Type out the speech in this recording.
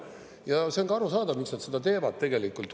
Ja see on ka arusaadav, miks nad seda teevad tegelikult.